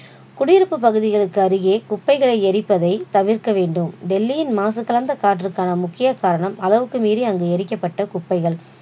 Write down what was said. குடியிருப்பு பகுதிகளுக்கு அருகே குப்பைகளை எரிப்பதை தவிர்க்க வேண்டும், டெல்லியின் மாசுகலந்த கற்றுக்கான முக்கிய காரணம் அளவுக்கு மீறி அங்கு எரிக்கப்பட்ட குப்பைகள்